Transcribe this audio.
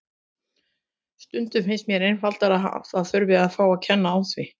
Stundum finnst mér einfaldlega að það þurfi að fá að kenna á því.